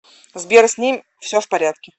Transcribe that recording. сбер с ним все в порядке